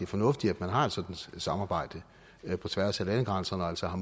fornuftigt at man har et sådant samarbejde på tværs af landegrænserne og altså har